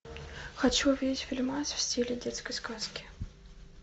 хочу увидеть фильмас в стиле детской сказки